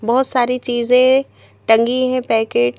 बहुत सारी चीजें टंगी है पैकेट --